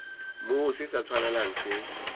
moo se sa tshwanelang se